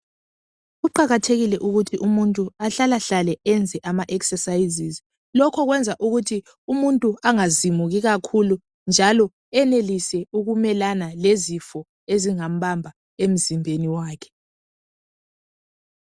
kuqakathekile ukuthi umuntu ahlalahlale eyenze ama exercises lokho kuyenza ukuthi umuntu angazimuki kakhulu njalo eyenelise ukumelana lezifo ezingambamba emzimbeni wakhe